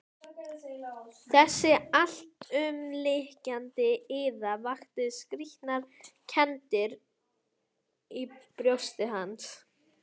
Þessi alltumlykjandi iða vakti skrýtnar kenndir í brjósti hans.